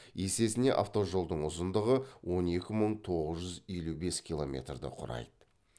есесіне автожолдың ұзындығы он екі мың тоғыз жүз елу бес киломерді құрайды